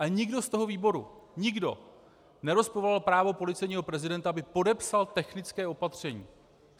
Ale nikdo z toho výboru - nikdo - nerozporoval právo policejního prezidenta, aby podepsal technické opatření.